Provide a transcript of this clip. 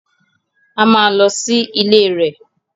A máa lọ sí ilé rẹ̀